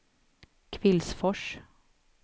Kvillsfors